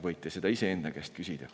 Võite seda iseenda käest küsida.